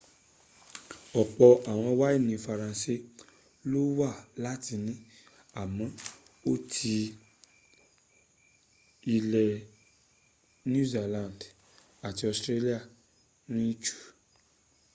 ọ̀pọ̀ àwọn wáìnì faranse ló wà láti ni àmọ ọtí́ ilẹ̀ new zealand àti australia rìn jù